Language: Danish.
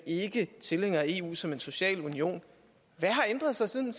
ikke er tilhængere af eu som en social union hvad har ændret sig siden